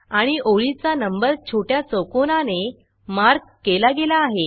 आणि ओळीचा नंबर छोट्या चौकोनाने मार्क केला गेला आहे